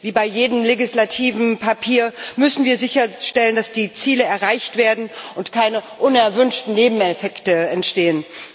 Wie bei jedem legislativen Papier müssen wir sicherstellen, dass die Ziele erreicht werden und keine unerwünschten Nebeneffekte entstehen.